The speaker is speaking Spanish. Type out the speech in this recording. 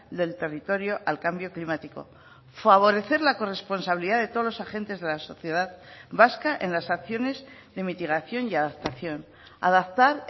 del territorio al cambio climático favorecer la corresponsabilidad de todos los agentes de la sociedad vasca en las acciones de mitigación y adaptación adaptar